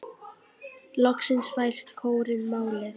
Loksins fær kórinn málið.